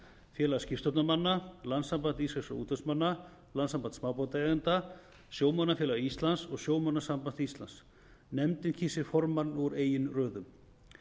félag skipstjórnarmanna landssamband íslenskra útvegsmanna landssamband smábátaeigenda sjómannafélag íslands og sjómannasamband íslands nefndin kýs sér formann úr eigin röðum